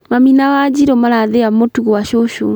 Mami na Wanjirũ marathĩa mũtu gwa cũcũ